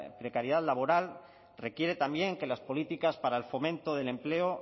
precariedad laboral requiere también que las políticas para el fomento del empleo